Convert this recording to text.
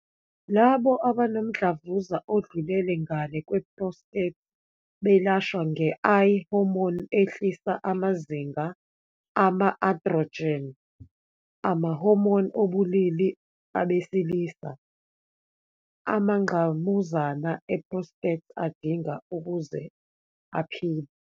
Labo abanomdlavuza odlulela ngalé kwe-prostate belashwa nge-I-hormone ehlisa amazinga ama-androgen, ama-hormone obulili abesilisa, amangqamuzana e-prostate adinga ukuze aphile.